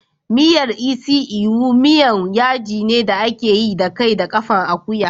Miyar isi ewu miyan yaji ne da ake yi da kai da ƙafan akuya.